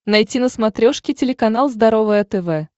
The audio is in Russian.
найти на смотрешке телеканал здоровое тв